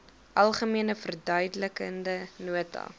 algemene verduidelikende nota